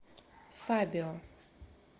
фабио